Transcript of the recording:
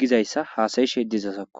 gizaysa hasa'ishe dizazakko.